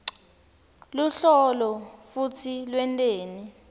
luhlolo futsi lwenteni